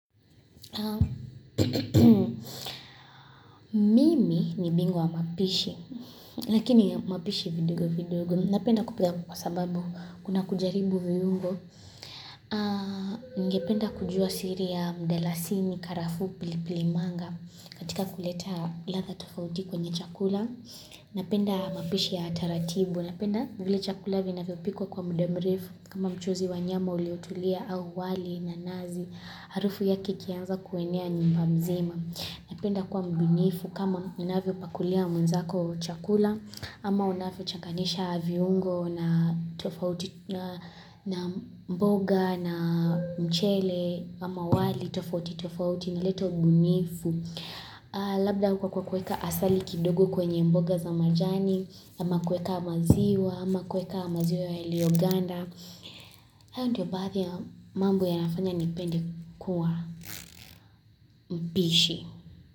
Mimi ni bingwa wa mapishi Lakini ya mapishi vidogo vidogo Napenda kupika kwa sababu kuna kujaribu viungo Nigependa kujua siri ya mdalasini karafuu pili pili manga katika kuleta ladha tofauti kwenye chakula Napenda mapishi ya taratibu Napenda vile chakula vinavyopikwa kwa muda mrefu kama mchuzi wa nyama uliotulia au wali na nazi Harufu yake ikianza kuenea nyumba mzima Napenda kuwa mbunifu kama unavyopakulia mwenzako chakula ama unavyo changanyisha viungo na mboga na mchele ama wali tofauti tofauti inaleta ubunifu. Labda huko kwa kuweka asali kidogo kwenye mboga za majani ama kuweka maziwa ama kuweka maziwa yaliyoganda. Hayo ndio baadhi ya mambo yanafanya nipende kuwa mpishi.